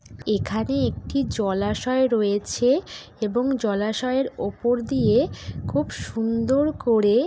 এখানে একটি জলাশয় রয়েছে এবং জলাশয়ের উপর দিয়ে খুব সুন্দর করে--